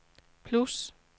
plus